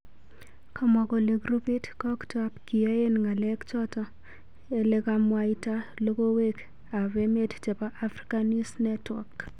Kamwa kole groupit koktap kiyaen ngalek chato elekamwaita logowek ap emet chepo afrika news network.